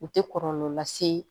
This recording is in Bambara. U tɛ kɔlɔlɔ lase